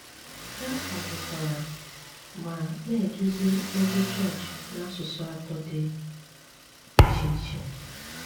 Há kwádòkwárá má ná-édúzí ózí chọọchị n’ásụsụ átọ dí íché íché.